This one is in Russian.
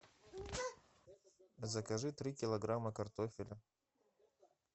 закажи три килограмма картофеля